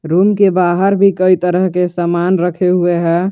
Room के बाहर भी कई तरह के सामान रखे हुए हैं।